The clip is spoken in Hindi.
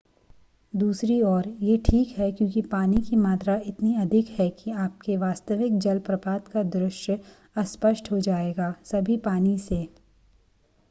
दूसरी ओर यह ठीक है क्योंकि पानी की मात्रा इतनी अधिक है कि आपके वास्तविक जलप्रपात का दृश्य अस्पष्ट हो जाएगा सभी पानी से